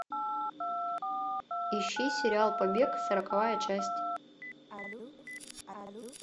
ищи сериал побег сороковая часть